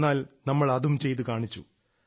എന്നാൽ നമ്മൾ അതും ചെയ്തുകാണിച്ചു